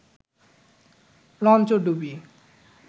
লঞ্চডুবি